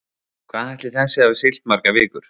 Hvað ætli þessi hafi siglt margar vikur?